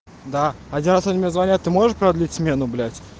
да один раз они мне звонят ты можешь продлить смену